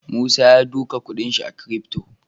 Musa yasa duka kuɗin shi a crypto